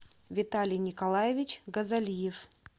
виталий николаевич газалиев